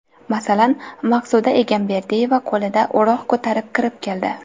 Masalan, Maqsuda Egamberdiyeva qo‘lida o‘roq ko‘tarib kirib keldi.